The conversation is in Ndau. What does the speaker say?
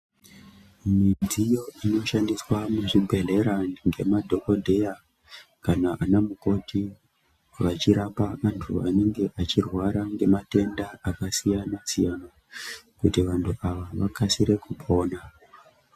Midziyo inoshandiswa muzvibhedhlera ngemadhokodheya kana ana mukoti vachirapa vantu vanenge vachirwara ngematenda akasiyana siyana kuti vantu ava vakasire kupona.